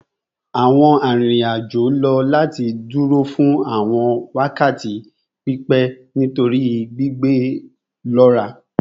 Awọn arinrin-ajo lo lati duro fun awọn wakati pipẹ nitori gbigbe lọra